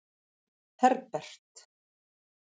Herbert